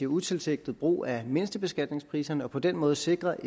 utilsigtet brug af mindstebeskatningspriserne og på den måde sikrer